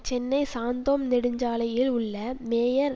சென்னை சாந்தோம் நெடுஞ்சாலையில் உள்ள மேயர்